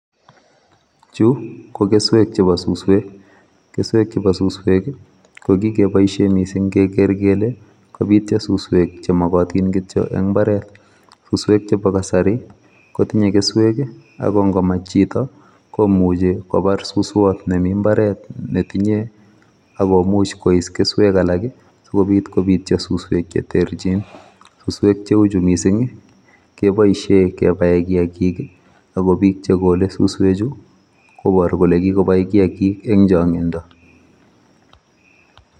Chu ko keswek chebo suswek, keswek chebo suswek i kokiboishien missing kegeere kele kobiityo suswek chemokotiin kityok en imbaret, suswek chebo kasari kotinye keswek ak ingomach chito komuche kobar suswot nemi mbaret netinye akomuch kois keswek alak sikobiit kobityo suswek che terchin. Suswek cheuchu missing keboishien kebab kiyagiik ako bii chegole suswechu koboru kole kikobai kiyaagik eng chongindoo